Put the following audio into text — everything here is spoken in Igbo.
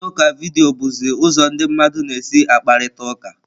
Mkparịta ụka vidiyo bụzi ụzọ ndị mmadụ na-esi akparịta ụka.